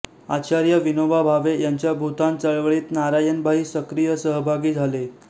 आचार्य विनोबा भावे यांच्या भूदान चळवळीत नारायणभाई सक्रिय सहभागी झाले